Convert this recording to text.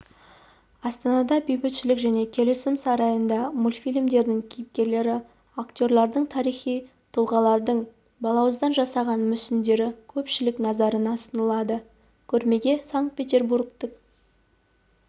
астанада бейбітшілік және келісім сарайында мультфильмдердің кейіпкерлері актерлардың тарихи тұлғалардың балауыздан жасалған мүсіндері көпшілік назарына ұсынылады көрмеге санкт-петербургтік